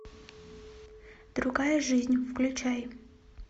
другая жизнь включай